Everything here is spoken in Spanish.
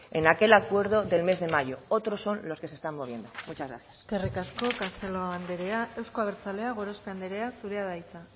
en aquel acuerdo del mes de mayo otros son los que se están moviendo muchas gracias eskerrik asko castelo anderea euzko abertzaleak gorospe anderea zurea da hitza